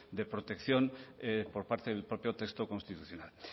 de protección por parte del propio texto constitucional